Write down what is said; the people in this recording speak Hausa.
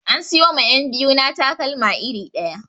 An siyo ma 'yab biyu na takalma iri ɗaya